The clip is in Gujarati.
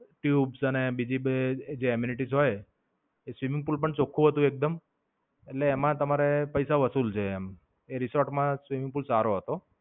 તેવું જ છે ને બીજી બે Aminitis હોય એ swimming pool પણ ચોખ્ખું હોય એટલે એમાં તમારે પૈસા વસુલ છે એમ. એ રિસોર્ટ માં swimming pool સારો હતો.